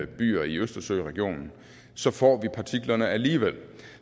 byer i østersøregionen får vi partiklerne alligevel